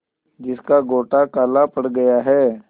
जिसका गोटा काला पड़ गया है